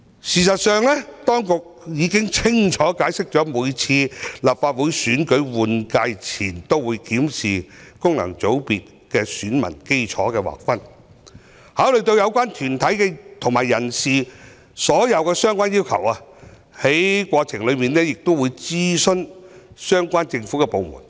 事實上，當局已經清楚解釋，每次立法會換屆選舉前都會檢視功能界別選民基礎的劃分，考慮有關團體和人士所有的相關要求，在過程中亦會諮詢相關政府部門。